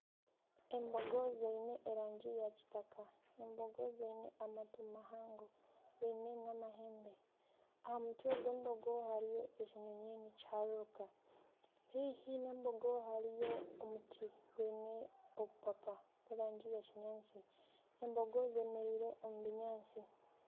Embogo ziine erangi ya kitaka. Embogo ziine amatu mahango, ziine n'amahembe. Aha mutwe gw'embogo hariyo ekinyonyi nikihararuka. Heihi n'embogo hariyo omuti gwine obupapa bwe rangi ya kinyaantsi. Embogo zemereire omu binyaatsi.